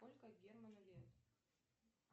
сколько герману лет